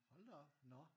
Hold da op nå